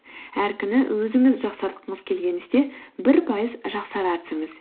әр күні өзіңіз жақсартқыңыз келген істе бір пайыз жақсара түсіңіз